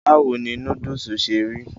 báwo ni núdùsì ṣe rí?